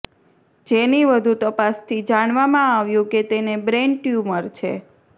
જેની વધુ તપાસથી જાણવામાં આવ્યું કે તેને બ્રેઈન ટયુમર છે